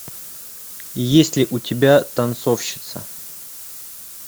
есть ли у тебя танцовщица